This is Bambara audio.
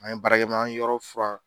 An ye baara kɛ mɛ an ye yɔrɔ furan